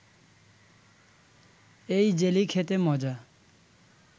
এই জেলি খেতে মজা